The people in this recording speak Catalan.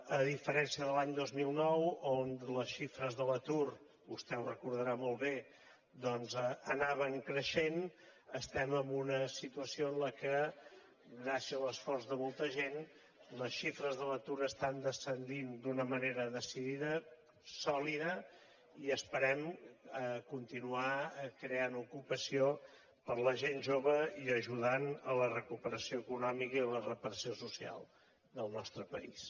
a diferència de l’any dos mil nou on les xifres de l’atur vostè ho recordarà molt bé doncs anaven creixent estem en una situació en què gràcies a l’esforç de molta gent les xifres de l’atur estan descendint d’una manera decidida sòlida i esperem continuar creant ocupació per a la gent jove i ajudant a la recuperació econòmica i a la reparació social del nostre país